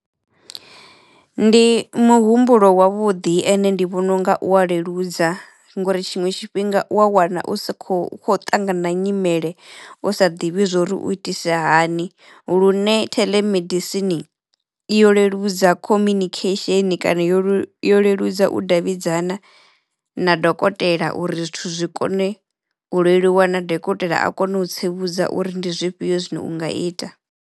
Ndi muhumbulo wavhuḓi ende ndi vhona unga u wa leludza ngori tshiṅwe tshifhinga u wa wana u sa kho u kho ṱangana na nyimele u sa ḓivhi zwori u itise hani lune theḽemedisini yo leludza communication kana yo lelu yo leludza u davhidzana na dokotela uri zwithu zwi kone u leluwa na dokotela a kono u tsivhudza uri ndi zwifhio zwine unga ita.